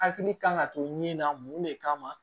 Hakili kan ka to ɲini na mun le kama